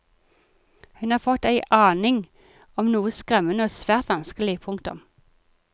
Hun har fått ei aning om noe skremmende og svært vanskelig. punktum